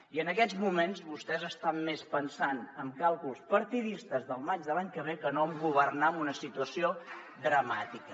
i en aquests moments vostès estan més pensant en càlculs partidistes del maig de l’any que ve que no en governar en una situació dramàtica